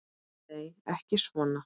Nei, ekki svona.